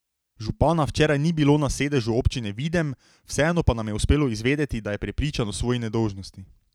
Župana včeraj ni bilo na sedežu občine Videm, vseeno pa nam je uspelo izvedeti, da je prepričan o svoji nedolžnosti.